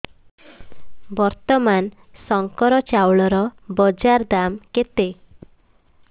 ବର୍ତ୍ତମାନ ଶଙ୍କର ଚାଉଳର ବଜାର ଦାମ୍ କେତେ